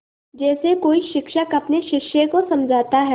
जैसे कोई शिक्षक अपने शिष्य को समझाता है